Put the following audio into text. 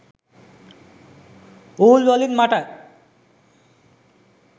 wool වලින් මට